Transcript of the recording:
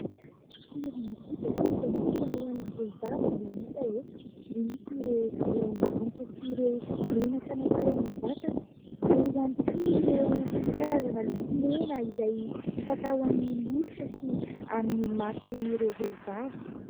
Tena kojakoja natokana hoan'ny vehivavy no hita eto. Misy ireo ranomanitra sy ireo menaka natao amin'ny vatana, eo ihany koa ireo karazana lokomena izay f'atao amin'ny molotra sy amin'ny mason'ireo vehivavy.